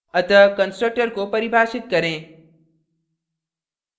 अतः constructor को परिभाषित करें